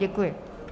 Děkuji.